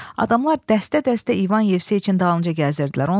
Adamlar dəstə-dəstə İvan Yevseyiçin dalınca gəzirdilər.